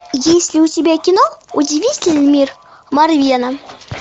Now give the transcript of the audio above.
есть ли у тебя кино удивительный мир марвена